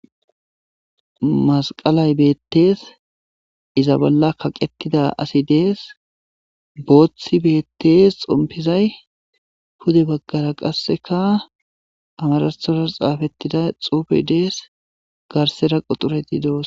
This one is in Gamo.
masqalay beettees iza bolla kaqetida asi dees booththi beettees xompizay pude baggara qasseka amarathoras xaafettida xuufe dees garsera qoxureti doos